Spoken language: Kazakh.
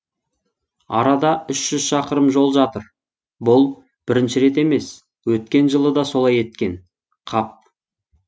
арада үш жүз шақырым жол жатыр бұл бірінші рет емес өткен жылы да солай еткен қап